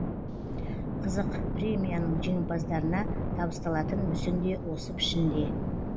қызық премияның жеңімпаздарына табысталатын мүсін де осы пішінде